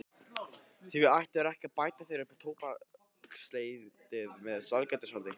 Því ættirðu ekki að bæta þér upp tóbaksleysið með sælgætisáti.